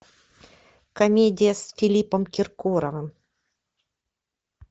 комедия с филиппом киркоровым